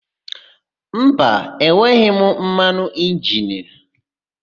Mba, enweghị m mmanụ injini.